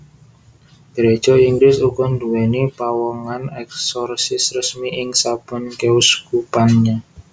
Gereja Inggris uga nduwèni pawongan eksorsis resmi ing saben keuskupannya